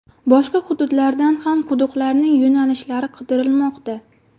Boshqa hududlardan ham quduqlarning yo‘nalishlari qidirilmoqda.